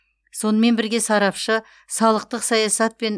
сонымен бірге сарапшы салықтық саясат пен